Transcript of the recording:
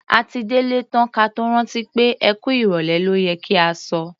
A ti délé tán ka tó rántí pé "ẹ kú ìrọ̀lẹ́ ló yẹ kí a sọ".